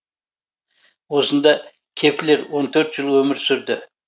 осында кеплер он төрт жыл өмір сүрді